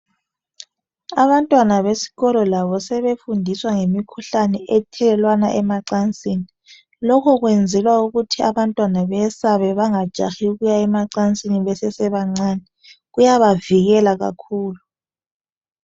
Abantwana besikolo labo sebefundiswa ngemikhuhlane ethelelwana amacansini. Lokhi kwenzelwa ukuthi abantwana bayesabe bengajahi ukuya emacansini besesebancani kuyabavikela kakhulu.